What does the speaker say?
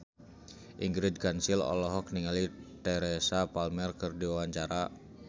Ingrid Kansil olohok ningali Teresa Palmer keur diwawancara